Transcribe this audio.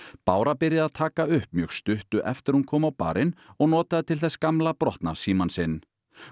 bára byrjaði að taka upp mjög stuttu eftir að hún kom á barinn og notaði til þess gamla brotna símann sinn